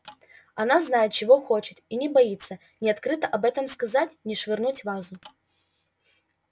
она знает чего хочет и не боится ни открыто об этом сказать ни швырнуть вазу